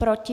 Proti?